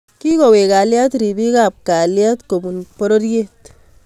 Kigoweek kalyet ripiik ap kalyet kopun pororyeet